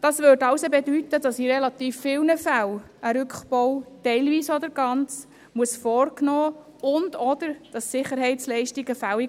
Das hiesse: In relativ vielen Fällen muss ein teilweiser oder ganzer Rückbau vorgenommen werden und/oder werden Sicherheitsleistungen fällig.